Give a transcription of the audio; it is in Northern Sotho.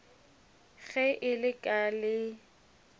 ge e le ka le